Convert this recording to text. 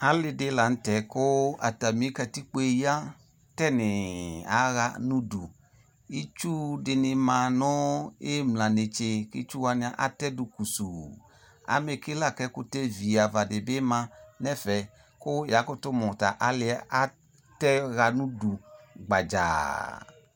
Ale lantɛ ko atane katikpoe ya tinii aha no udu Itsu de ne ma no imla netse ko itsu wane atɛdo kusuu Amɛke la ko ɛkutɛ viava de be ma no ɛfɛ ko yaa koto mu ta aleɛ atɛ ha no udu gbadzaa